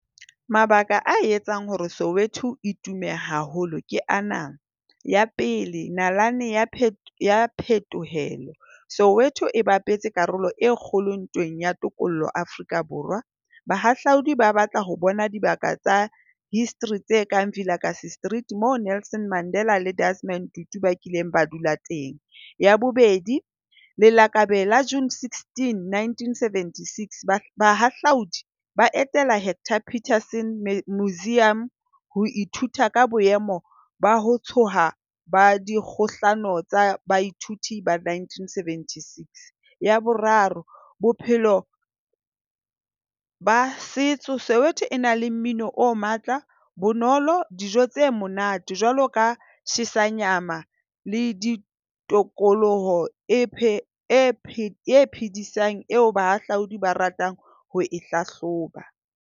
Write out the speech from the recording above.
Mabaka a etsang hore Soweto itume haholo ke ana. Ya pele. Nalane ya phetolelo Soweto e bapetse karolo e kgolo ntweng ya tokollo Afrika Borwa. Bahahlaodi ba batla ho bona dibaka tsa history tse kang Vilakazi Street moo Nelson Mandela le Desmond Tutu ba kileng ba dula teng. Ya bobedi, lelakabe la June sixteen, nineteen seventy six. Bahahlaudi ba etela Hector Peterson Museum ho ithuta ka boemo ba ho tsoha ba dikgohlano tsa baithuti ba nineteen seventy six. Ya boraro. Bophelo ba setso. Soweto e na le mmino o matla. Bonolo. Dijo tse monate jwalo ka tjhesanyama, le tokoloho eo bahahlaodi ba ratang ho e hlahloba.